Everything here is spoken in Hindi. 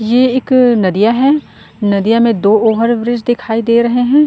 ये एक नदिया है। नदिया में दो ओवरब्रिज दिखाई दे रहै हैं।